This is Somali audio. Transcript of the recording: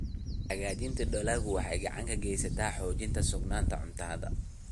Hagaajinta dalaggu waxay gacan ka geysataa xoojinta sugnaanta cuntada.